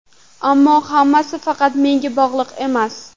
Ammo hammasi faqat menga bog‘liq emas.